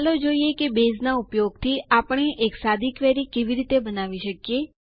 ચાલો જોઈએ કે બેઝનાં ઉપયોગથી આપણે એક સાદી ક્વેરી કેવી રીતે બનાવી શકીએ